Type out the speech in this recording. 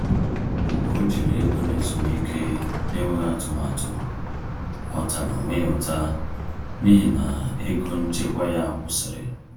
Mgbe o jiri ego n’ezumike n’enweghị atụmatụ, ọ tara onwe ya ụta n’ihi na ego nchekwa ya kwụsịrị.